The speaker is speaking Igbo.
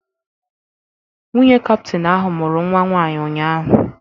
Nwunye kaptain ahụ mụrụ nnwa nwaanyị ụnyaahụ.